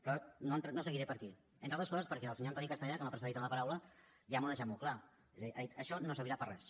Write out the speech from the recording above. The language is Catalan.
però no seguiré per aquí entre altres coses perquè el senyor antoni castellà que m’ha precedit en la paraula ja m’ho ha deixat molt clar ha dit això no servirà per a res